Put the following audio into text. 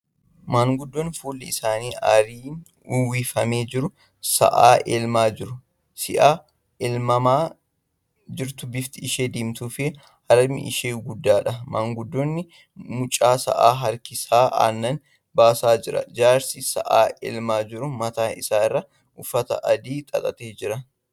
Maanguddoon fuulli isaanii aarriin uwwifamee jiru sa'a elmaa jiru. Sa'i elmamaa jirtu bifti ishee diimtuu fi harmi ishee guddaadha. Maanguddoon mucha sa'a harkisee aannan baasaa jira. Jaarsi sa'a elmaa jiru mataa isaa irratti uffata adii xaxatee jira.